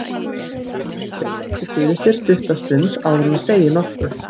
Mamma virðir Eddu fyrir sér stutta stund áður en hún segir nokkuð.